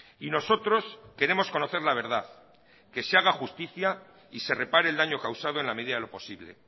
y nosotros queremos conocer la verdad que se haga justicia y se repare el daño causado en la medida de lo posible